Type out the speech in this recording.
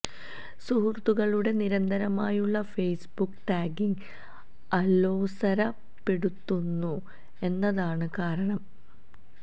സുഹൃത്തുക്കളുടെ നിരന്തരമായുള്ള Facebook tagging അലോസരപ്പെടുത്തുന്നു എന്നതാണ് കാരണം